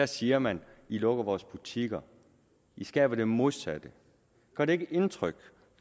siger man i lukker vores butikker i skaber det modsatte gør det ikke indtryk